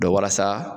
walasa